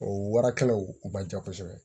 O warakɛlaw man ca kosɛbɛ